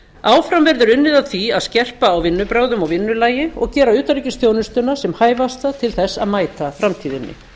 áfram verður unnið að því að skerpa á vinnubrögðum og vinnulagi og gera utanríkisþjónustuna sem hæfasta til þess að mæta framtíðinni